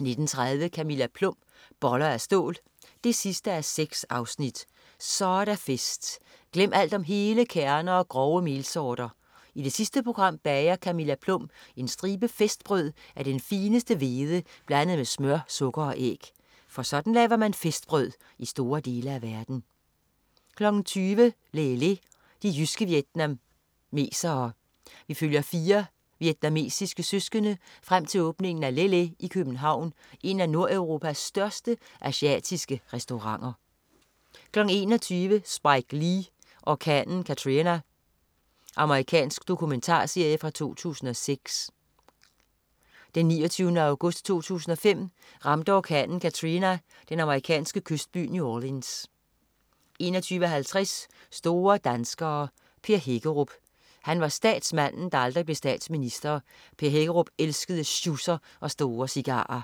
19.30 Camilla Plum. Boller af stål 6:6. Så er der fest! Glem alt om hele kerner og grove melsorter. I det sidste program bager Camilla Plum en stribe festbrød af den fineste hvede blandet med smør, sukker og æg. For sådan laver man festbrød i store dele af verden 20.00 Lê Lê, de jyske vietnamesere. Vi følger fire vietnamesiske søskende frem til åbningen af Lê Lê i København, en af nordeuropas største asiatiske restauranter 21.00 Spike Lee: Orkanen Katrina. Amerikansk domumentarserie fra 2006. Den 29. august 2005 ramte orkanen Katrina den amerikanske kystby New Orleans 21.50 Store danskere: Per Hækkerup. Han var statsmanden, der aldrig blev statsminister. Per Hækkerup elskede sjusser og store cigarer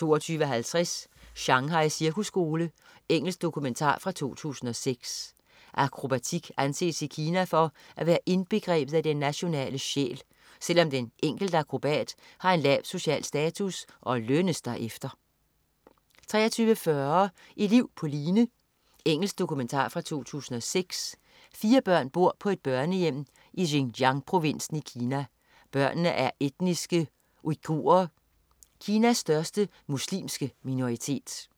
22.50 Shanghai cirkusskole. Engelsk dokumentar fra 2006. Akrobatik anses i Kina for at være indbegrebet af den nationale sjæl, selv om den enkelte akrobat har en lav social status og lønnes derefter 23.40 Et liv på line. Engelsk dokumentar fra 2006. Fire børn bor på et børnehjem i Xinjiang-provinsen i Kina. Børnene er etniske uighurer, Kinas største muslimske minoritet